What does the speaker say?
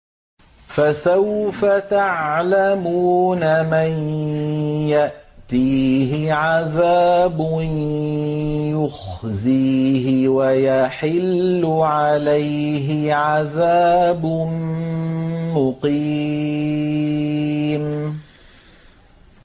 فَسَوْفَ تَعْلَمُونَ مَن يَأْتِيهِ عَذَابٌ يُخْزِيهِ وَيَحِلُّ عَلَيْهِ عَذَابٌ مُّقِيمٌ